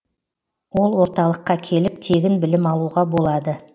ол орталыққа келіп тегін білім алуға болады